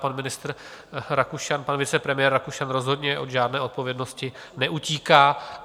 Pan ministr Rakušan, pan vicepremiér Rakušan rozhodně od žádné odpovědnosti neutíká.